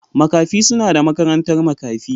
Makafi suna da makarantar makafi.